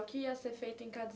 O que ia ser feito em cada